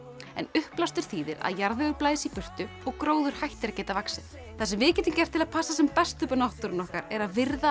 en uppblástur þýðir að jarðvegur blæs í burtu og gróður hættir að geta vaxið það sem við getum gert til að passa upp á náttúruna okkar er að virða